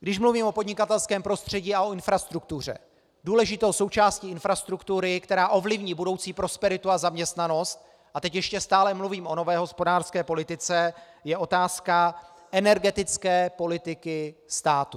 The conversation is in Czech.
Když mluvím o podnikatelském prostředí a o infrastruktuře, důležitou součástí infrastruktury, která ovlivní budoucí prosperitu a zaměstnanost - a teď ještě stále mluvím o nové hospodářské politice -, je otázka energetické politiky státu.